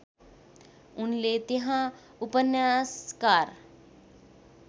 उनले त्यहाँ उपन्यासकार